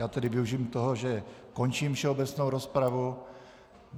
Já tedy využiji toho, že končím všeobecnou rozpravu.